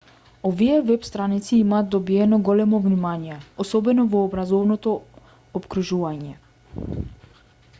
овие веб-страници имаат добиено големо внимание особено во образовното опкружување